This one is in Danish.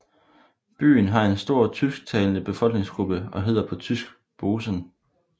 Byen har en stor tysktalende befolkningsgruppe og hedder på tysk Bozen